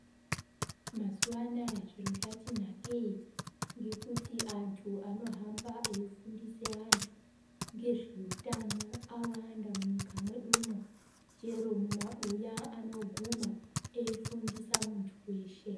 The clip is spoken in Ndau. Mazuva anaya zviro zvati nakei ngekuti anthu anohamba eifundisa anthu ngezveutano awanda munyika mwedumo ngekuti chero mumabuya vanoguma veifundisa muntu weshe.